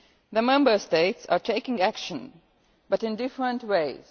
it. The Member States are taking action but in different ways.